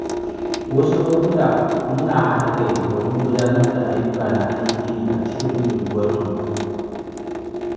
Wasu lokuta muna haɗa kai domin gudanar da ayyuka na alheri a cikin unguwarmu.